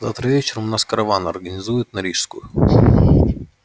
завтра вечером у нас караван организуют на рижскую